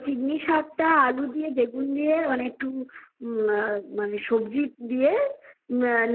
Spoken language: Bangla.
ওই চিঙি শাক আলু দিয়ে বেগুন দিয়ে মেখে মানে একটু সবজি দিয়ে